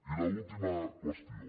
i l’última qüestió